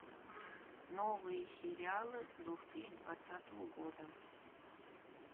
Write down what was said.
новые сериалы две тысячи двадцатого года